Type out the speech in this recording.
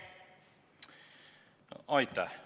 Aitäh!